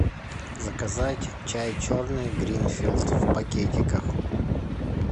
заказать чай черный гринфилд в пакетиках